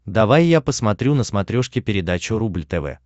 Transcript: давай я посмотрю на смотрешке передачу рубль тв